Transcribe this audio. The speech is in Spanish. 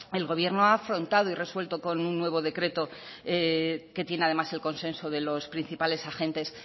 el gobierno ha afrontado y resuelto con un nuevo decreto que tiene además el consenso de los principales agentes